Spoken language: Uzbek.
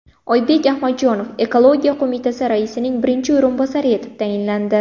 Oybek Adhamjonov ekologiya qo‘mitasi raisining birinchi o‘rinbosari etib tayinlandi.